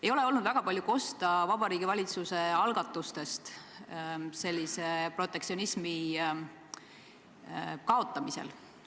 Ei ole olnud väga palju kuulda Vabariigi Valitsuse algatustest protektsionismi kaotamisel.